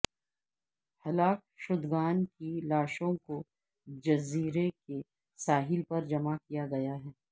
ہلاک شدگان کی لاشوں کو جزیرے کے ساحل پر جمع کیا گیا ہے